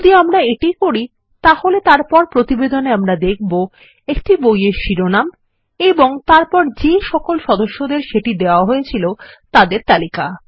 যদি আমরা এটি করি তাহলেতারপর প্রতিবেদনেআমরা দেখব একটি বইয়ের শিরোনাম এবং তারপরযেসকল সদস্যদের সেটি দেওয়াহয়েছিল তাদের তালিকা